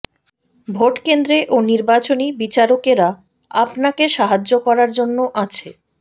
ভোটকেন্দ্রে ও নির্বাচনী বিচারকেরা আপনাকে সাহায্য করার জন্য আছে